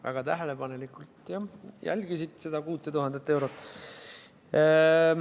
Väga tähelepanelikult jälgisite seda 6000 eurot.